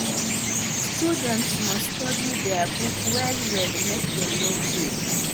students must study their books well well make dem no fail